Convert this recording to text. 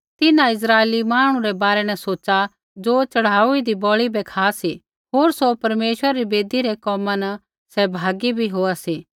तिन्हां इस्राइला मांहणु रै बारै न सोच़ा ज़ो च़ढ़ाऊदी बलि बै खा सी होर सौ परमेश्वरा री बेदी रै कोमा न सहभागी भी होआ सी